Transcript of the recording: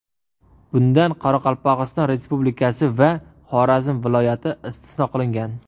Bundan Qoraqalpog‘iston Respublikasi va Xorazm viloyati istisno qilingan.